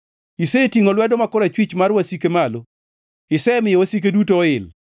Isetingʼo lwedo ma korachwich mar wasike malo; isemiyo wasike duto oil.